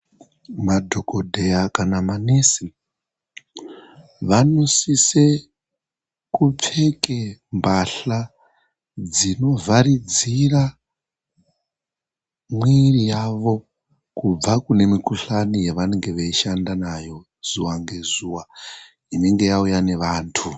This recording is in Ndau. Madhokodheya kana manesi ,vanosise kupfeke mbahla dzinovharidzira mwiri yavo, kubva kune mikhuhlani yavanenge veishanda nayo zuwa ngezuwa, inenge yauya nevantu.